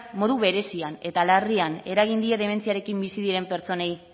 modu berezian eta larrian eragin die dementziarekin bizi diren pertsonei